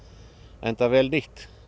enda vel nýtt